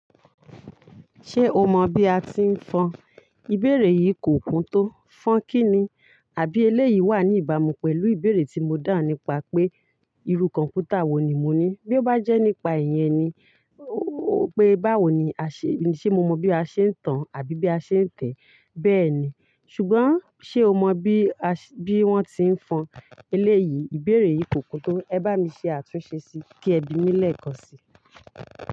Ṣé o mọ bí a ti ń fọn? Ìbéèrè yìí kò kún tó. Fọn kí ni? A Àbí eléyìí wà ní ìbámu pẹ̀lú ìbéèrè tí mo da'un nípa pé irú kọ̀ǹpútà wo ni mo ní. Bí ó bá jẹ́ nípa ìyẹn ni, pé báwo ni a ṣe, ṣe mo mọ bí a ṣe ń tan àbí bí a ṣe ń tẹ̀? Bẹ́ẹ̀ni, ṣùgbọ́n ṣe o mọ bí a se, bí wọ́n ti ń fọn? Eléyìí, ìbéèrè yìí kò kún tó. Ẹ bá mi ṣe àtúnṣe sí kí ẹ bí mí l'eèkàn sí.